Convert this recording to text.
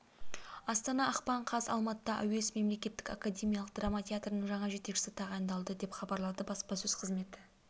астана ақпан қаз алматыда әуезов мемлекеттік академиялық драма театрының жаңа жетекшісі тағайындалды деп хабарлады баспасөз қызметі